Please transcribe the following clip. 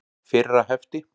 Fyrra hefti.